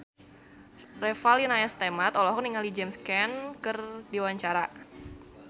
Revalina S. Temat olohok ningali James Caan keur diwawancara